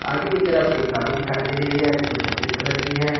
आगे की तरफ एक गाड़ी दिखाई दे रही है जो सफेद कलर की है।